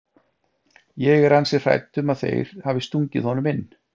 Ég er ansi hrædd um að þeir hafi stungið honum inn.